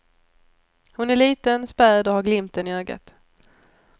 Hon är liten, späd och har glimten i ögat.